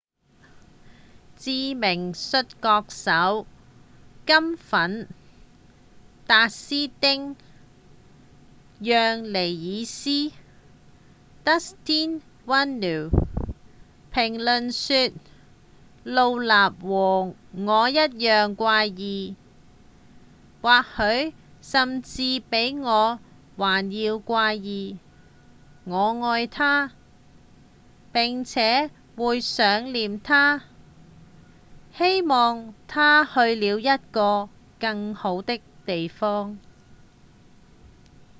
知名摔角手「金粉」達斯汀·讓尼爾斯 dustin runnels 評論說：「盧納和我一樣怪異或許甚至比我還要怪異我愛她並且會想念她希望她去了一個更好的地方」